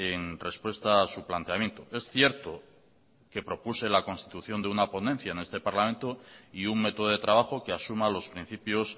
en respuesta a su planteamiento es cierto que propuse la constitución de una ponencia en este parlamento y un método de trabajo que asuma los principios